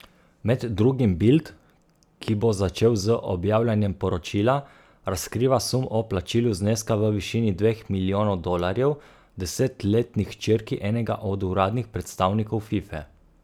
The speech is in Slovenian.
Med drugim Bild, ki bo začel z objavljanjem poročila, razkriva sum o plačilu zneska v višini dveh milijonov dolarjev desetletni hčerki enega od uradnih predstavnikov Fife.